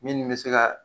Min bɛ se ka